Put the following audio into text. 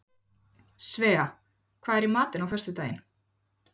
Svea, hvað er í matinn á föstudaginn?